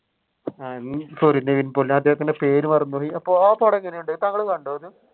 നിവിൻ പൊളി അല്ലെ ഞാൻ അദ്ദേഹത്തിന്റെ പേര് മറന്നു പോയി അപ്പൊ ആ പടം എങ്ങനെ ഉണ്ട് താങ്കൾ കണ്ടോ അത്?